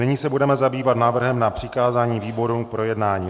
Nyní se budeme zabývat návrhem na přikázání výborům k projednání.